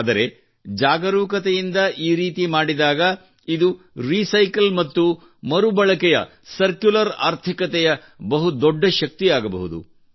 ಆದರೆ ಜಾಗರೂಕತೆಯಿಂದ ಈ ರೀತಿ ಮಾಡಿದಾಗ ಇದು ರಿಸೈಕಲ್ ಮತ್ತು ಮರುಬಳಕೆಯ ಸರ್ಕ್ಯುಲರ್ ಆರ್ಥಿಕತೆಯ ಬಹುದೊಡ್ಡ ಶಕ್ತಿಯಾಗಬಹುದು